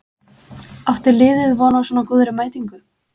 Átti liðið von á svona góðri mætingu?